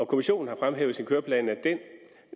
kommissionen har fremhævet i sin køreplan at den